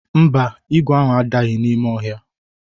Mba, ígwè ahụ adaghị n'ime ọhịa.